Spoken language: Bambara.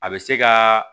A bɛ se ka